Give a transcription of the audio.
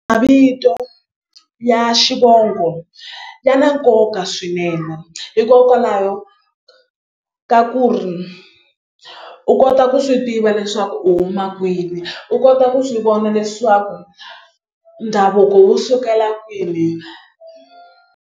Mavito ya xivongo ya na nkoka swinene hikokwalaho ka ku ri u kota ku swi tiva leswaku u huma kwini u kota ku swi vona leswaku ndhavuko wu sukela kwini.